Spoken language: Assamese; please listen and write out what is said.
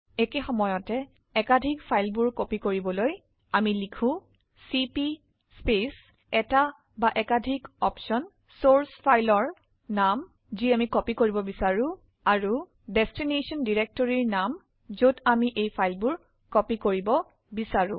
একেসময়তে একাধিক ফাইলবোৰ প্ৰতিলিপি কৰাৰ বাবে লিখক চিপি স্পেচ এটা বা একাধিক বিকল্প চৰ্চ ফাইলৰনাম আমি যি প্ৰতিলিপি কৰিব বিচাৰো আৰুdestination ডিৰেক্টৰিৰ নাম যত এই ফাইলবোৰ কপি বা প্ৰতিলিপি কৰিব বিচাৰো